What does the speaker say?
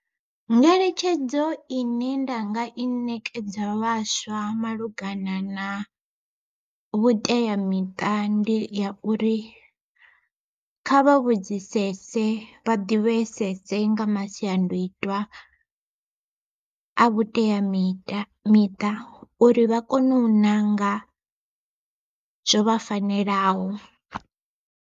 Ngeletshedzo ine nda nga i ṋekedza vhaswa malugana na, vhuteamiṱa ndi ya uri kha vha vhudzisese vha ḓivhesese nga masiandoitwa a vhuteamiṱa miṱa uri vha kone u ṋanga zwo vha fanelaho.